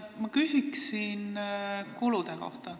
Ma küsin kulude kohta.